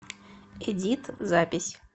эдит запись